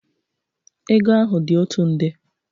Ego ahụ dị otu nde.